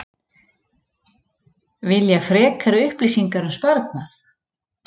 Vilja frekari upplýsingar um sparnað